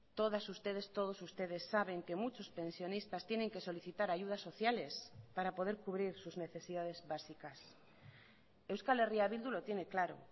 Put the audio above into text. todas ustedes todos ustedes saben que muchos pensionistas tienen que solicitar ayudas sociales para poder cubrir sus necesidades básicas euskal herria bildu lo tiene claro